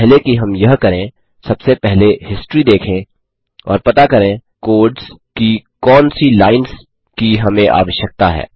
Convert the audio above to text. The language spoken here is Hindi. इससे पहले कि हम यह करें सबसे पहले हिस्ट्री देखें और पता करें कोड्स की कौन सी लाइन्स की हमें आवश्यकता है